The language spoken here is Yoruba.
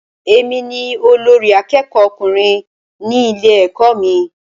Èmi ni olórí àkẹ́kọ̀ọ ọkùnrin ní ilé ẹ̀kọ́ mí.